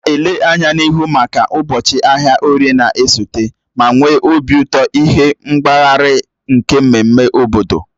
M na-ele anya n'ihu maka ụbọchị ahịa orie na-esote, ma nwee obi ụtọ ịhụ nkpaghari nke mmemme obodo.